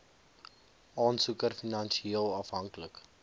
aansoeker finansieel afhanklik